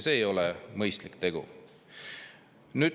See ei ole mõistlik tegu.